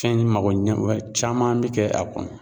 Fɛn mago ɲɛ wɛ caman bɛ kɛ a kɔnɔ.